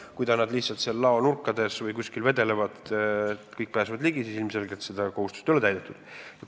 Kui need asjad lihtsalt laonurkades või kuskil mujal vedelevad ja kõik pääsevad neile ligi, siis ilmselgelt seda kohustust ei ole täidetud.